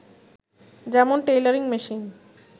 যেমন_ tailoring machine